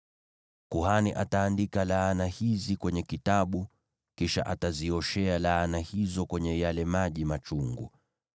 “ ‘Kuhani ataandika laana hizi kwenye kitabu, kisha atazioshea laana hizo kwenye yale maji machungu.